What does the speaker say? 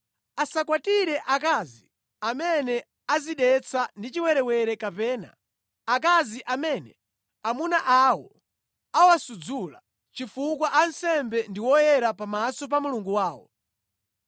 “ ‘Asakwatire akazi amene adzidetsa ndi chiwerewere kapena akazi amene amuna awo awasudzula, chifukwa ansembe ndi oyera pamaso pa Mulungu wawo.